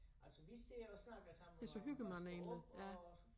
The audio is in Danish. Altså vi står og snakker sammen og vasker op og